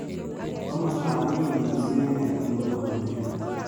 Komostap oriit misiing' eng' nairobi ko loo ne tyan